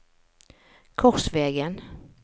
Korsvegen